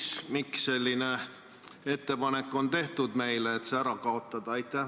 Ja miks on meile tehtud ettepanek see ära kaotada?